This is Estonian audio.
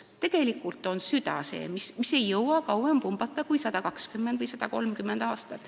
Tegelikult on süda see, mis ei jõua kauem pumbata kui 120 või 130 aastat.